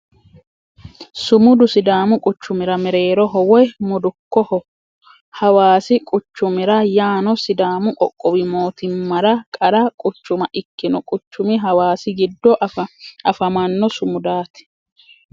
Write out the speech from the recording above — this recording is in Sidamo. Sumudu sidaamu quchumira mereeroho woy mudukkoho. hawaassi quchumira yaano sidaamu qoqqowi mootimmara qarra quchuma ikkino quchumi hawaassi giddo afamanno sumudaati.